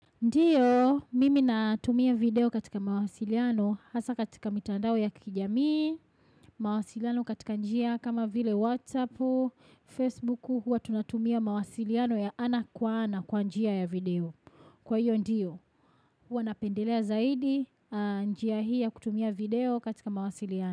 Ndiyo, mimi natumia video katika mawasiliano, hasa katika mitandao ya kijamii, mawasiliano katika njia kama vile Whatsappu, Facebooku, hua tunatumia mawasiliano ya ana kwa ana kwa njia ya video. Kwa hiyo ndiyo, hua napendelea zaidi, njia hii ya kutumia video katika mawasiliano.